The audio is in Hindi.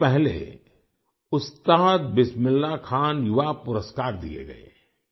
कुछ दिन पहले उस्ताद बिस्मिल्लाह खान युवा पुरस्कार दिए गए